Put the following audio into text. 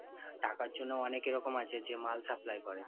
টাকার জন্যে অনেকে এরকম আছে যে মাল supply করে